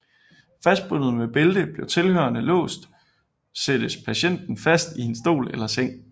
Fastbundet med bælte med tilhørende lås sættes patienten fast i en stol eller seng